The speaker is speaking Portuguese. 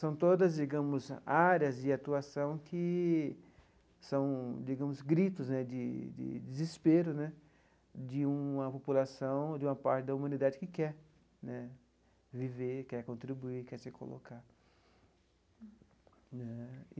São todas, digamos, áreas de atuação que são, digamos, gritos né de de desespero né de uma população, de uma parte da humanidade que quer né viver, quer contribuir, quer se colocar.